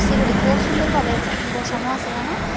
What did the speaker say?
এগুলি খুব সুন্দরভাবে বসানো আসে এহানো।